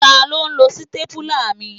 Taló n lo sítépúlà mi?